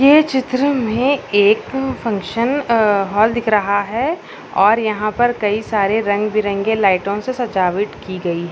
ये चित्र में एक फंक्शन अ हॉल दिख रहा है और यहाँ पर कई सारे रंग बिरंगे लाईटों से सजावट की गयी है।